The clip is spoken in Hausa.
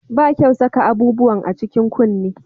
Ba kyau saka abubuwan a cikin kunne